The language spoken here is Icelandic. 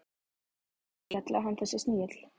Hún þessi skella og hann þessi snigill.